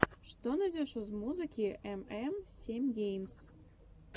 что найдешь из музыки эм эм семь геймс